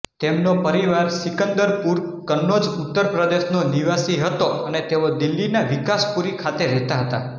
તેમનો પરિવાર સિંકદરપુર કન્નોજ ઉત્તર પ્રદેશનો નિવાસી હતો અને તેઓ દિલ્હીના વિકાસપુરી ખાતે રહેતાં હતાં